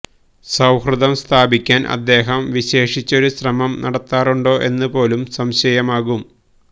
സൌഹൃദം സ്ഥാപിക്കാൻ അദ്ദേഹം വിശേഷിച്ചൊരു ശ്രമം നടത്താറുണ്ടോ എന്നു പോലും സംശയമാകും